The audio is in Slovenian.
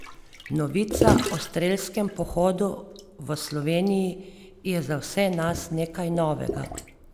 Novica o strelskem pohodu v Sloveniji je za vse nas nekaj novega.